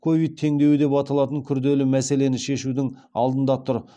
ковид теңдеуі деп аталатын күрделі мәселені шешудің алдында тұр